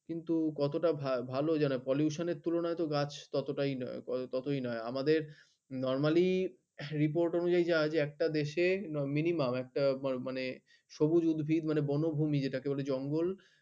কিন্তু কত টা ভাল pollution এর তুলনায় ততই আমাদের normally report অনুযায়ীই একটা দেশে minimum একটা সবুজ উদ্ভিদ মানে বনভূমি যেটা কে বলে জঙ্গল